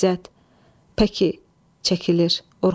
İzzət, pəki, çəkilir.